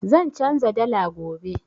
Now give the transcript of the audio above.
Zan canza dala gobe.